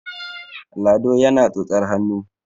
lado yana tsotsar hannu